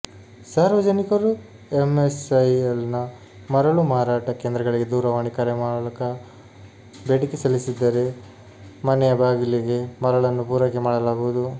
ಸಾರ್ವಜನಿಕರು ಎಂಎಸ್ಐಎಲ್ನ ಮರಳು ಮಾರಾಟ ಕೇಂದ್ರಗಳಿಗೆ ದೂರವಾಣಿ ಕರೆ ಮೂಲಕ ಬೇಡಿಕೆ ಸಲ್ಲಿಸಿದರೆ ಮನೆಯ ಬಾಗಿಲಿಗೆ ಮರಳನ್ನು ಪೂರೈಕೆ ಮಾಡಲಾಗುವುದು